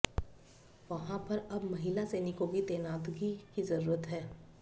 वहां पर अब महिला सैनिकों की तैनातगी की जरूरत है